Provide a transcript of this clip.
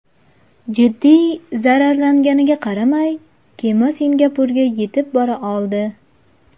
Jiddiy zararlanganiga qaramay, kema Singapurga yetib bora oldi.